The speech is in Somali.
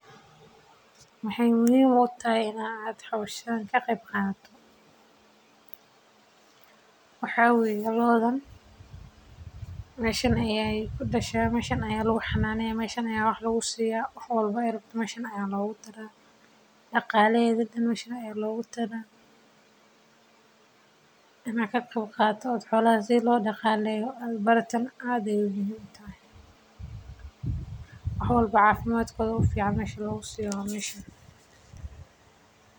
Waxeey muhiim utahay in laga qeeb qaato waxeey ledahay faaidoyin badan oo somaliyeed ayaa laga helaa hilib mida kowaad waa daqtarka dadka sacideyni haayo midka labaad waa talaalka talalada joogtada ah waxeey ledahay faaidoyin.